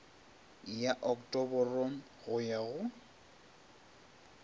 ya oktoboro go ya go